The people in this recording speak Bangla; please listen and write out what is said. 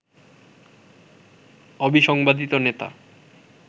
অবিসংবাদিত নেতা